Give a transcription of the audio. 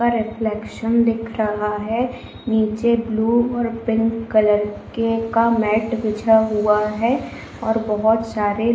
reflection दिख रहा है नीचे ब्लू और पिंक कलर के का मेट बिछा हुआ है और बहुत सारे --